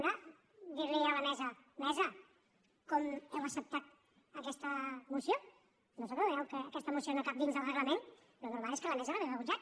una dir li a la mesa mesa com heu acceptat aquesta moció no us adoneu que aquesta moció no cap dins del reglament el normal és que la mesa l’hagués rebutjat